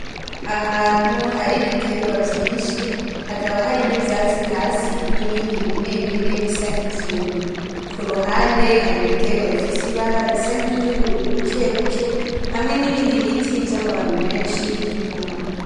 Ahantu hari ibiterwa vyinshi hakaba hari nivyatsi vyinshi bimwe bimwe bisa nkivyumye kuruhande hari ibiterwa bifise ibara risa nkiryubururu buke buke hamwe n,ibindi biti vyamababi menshi inyuma.